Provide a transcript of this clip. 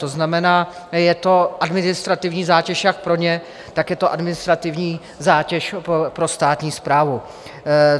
To znamená, je to administrativní zátěž jak pro ně, tak je to administrativní zátěž pro státní správu.